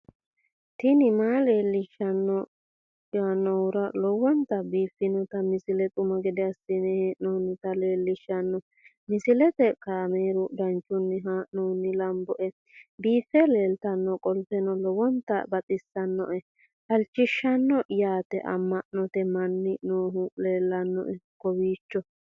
tini maa leelishshanno yaannohura lowonta biiffanota misile xuma gede assine haa'noonnita leellishshanno misileeti kaameru danchunni haa'noonni lamboe biiffe leeeltannoqolten lowonta baxissannoe halchishshanno yaate amma'note manni noohu leellannoe kowiicho